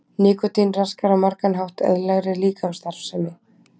nikótín raskar á margan hátt eðlilegri líkamsstarfsemi